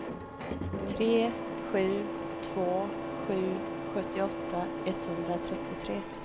tre sju två sju sjuttioåtta etthundratrettiotre